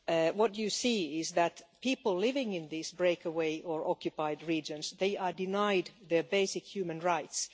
What you see is that people living in these breakaway' or occupied' regions are denied their basic human rights.